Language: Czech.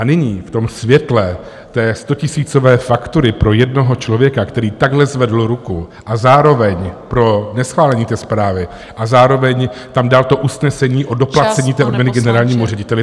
A nyní v tom světle té stotisícové faktury pro jednoho člověka, který takhle zvedl ruku a zároveň - pro neschválení té zprávy - a zároveň tam dal to usnesení o doplacení té odměny generálnímu řediteli...